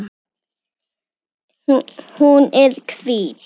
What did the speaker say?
Hún er hvít.